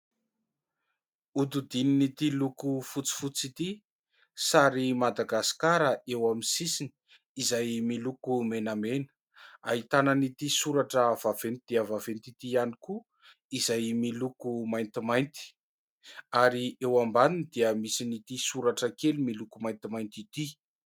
Hodidinin'ity loko fotsifotsy ity, sary Madagasikara eo amin'ny sisiny izay miloko menamena. Ahitana an'ity soratra vaventy dia vaventy ity ihany koa, izay miloko maintimainty ary eo ambaniny dia misy an'ny ity soratra kely miloko maintimainty ity.